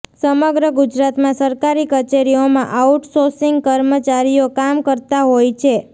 સમગ્ર ગુજરાતમાં સરકારી કચેરીઓમાં આઉટ સોસિગ કર્મચારીઓ કામ કરતા હોય છે